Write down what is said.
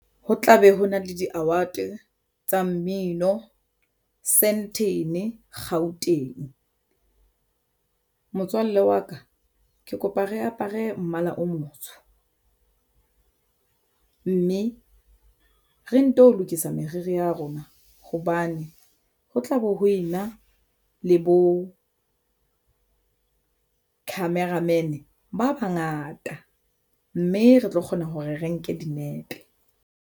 Ho tlabe ho na le di-award tsa mmino Sandton Gauteng. Motswalle wa ka ke kopa re apere mmala o motsho mme re nto lokisa meriri ya rona hobane ho tlabe ho ena le bo camera man ba bangata mme re tlo kgona hore re nke dinepe.